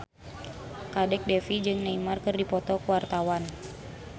Kadek Devi jeung Neymar keur dipoto ku wartawan